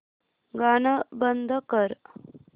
गाणं बंद कर